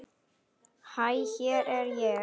Hæ hér er ég.